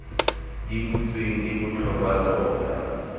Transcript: di butsweng e botlhokwa tota